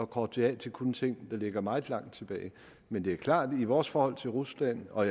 korte det af til kun ting der ligger meget langt tilbage men det er klart at i vores forhold til rusland og